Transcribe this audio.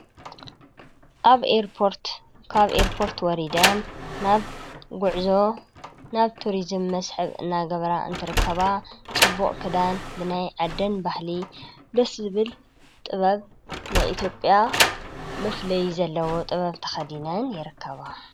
ኣብ ርርካብ ኤርጶርት ወሪደን ናብ ጕዕዞ ናብ ቱርዝም መስሕብ እናገበራ እንተረከባ ጽቡቕ ክዳን ብናይ ዓደን ባሕሊ ደስብል ጥበብ ናኢትጵያ ምፍለይ ዘለዎ ጥበብ ተኸዲነን የረከባ።